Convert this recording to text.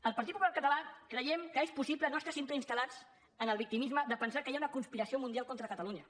el partit popular català creiem que és possible no estar sempre instal·lats en el victimisme de pensar que hi ha una conspiració mundial contra catalunya